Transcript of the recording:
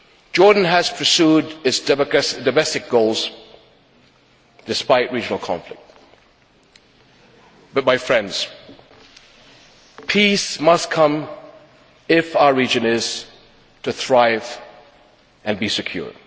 Jordan has pursued its domestic goals despite regional conflict but, my friends, peace must come if our region is to thrive and be secure.